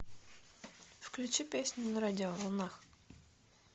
включи песню на радиоволнах